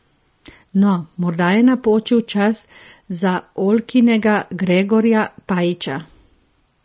No, morda je napočil čas za Oljkinega Gregorja Pajiča ...